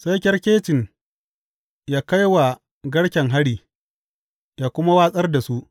Sai kyarkecin yă kai wa garken hari, yă kuma watsar da su.